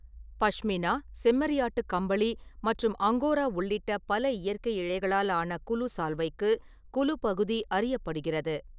பஷ்மினா, செம்மறியாட்டு கம்பளி மற்றும் அங்கோரா உள்ளிட்ட பல இயற்கை இழைகளால் ஆன குலு சால்வைக்கு குலு பகுதி அறியப்படுகிறது.